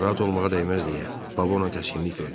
Narahat olmağa dəyməz deyə baba ona təskinlik verdi.